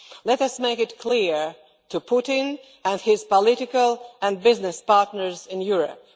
Let us make this clear to Putin and his political and business partners in Europe.